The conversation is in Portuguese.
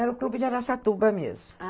Era o clube de Araçatuba mesmo.